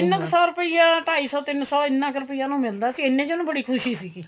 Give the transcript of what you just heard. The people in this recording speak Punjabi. ਤਿੰਨ ਕ ਸੋ ਰੁਪਇਆ ਢਾਈ ਸੋ ਤਿੰਨ ਸੋ ਇੰਨਾ ਕ ਰੁਪਇਆ ਉਨੂੰ ਮਿਲਦਾ ਸੀ ਇੰਨੇ ਚ ਉਹਨੂੰ ਬੜੀ ਖੁਸ਼ੀ ਸੀਗੀ